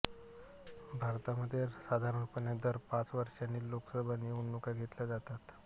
भारतामध्ये साधारणपणे दर पाच वर्षांनी लोकसभा निवडणुका घेतल्या जातात